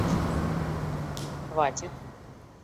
хватит